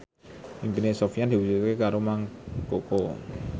impine Sofyan diwujudke karo Mang Koko